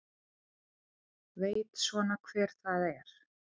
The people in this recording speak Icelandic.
Veit svona hver það er.